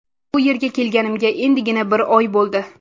Bu yerga kelganimga endigina bir oy bo‘ldi.